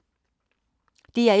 DR1